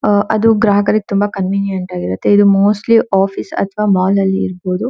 ಅಹ್ ಅದು ಗಗ್ರಾಹಕರಿಗೆ ಅದು ತುಂಬಾ ಕಾನ್ವಿನಿಯೆಂಟ್ ಆಗಿರುತ್ತೆ ಇದು ಮೋಸ್ಟ್ಲಿ ಆಫೀಸ್ ಅಥವಾ ಮಾಲ್ ಅಲ್ಲಿ ಇರಬಹುದು.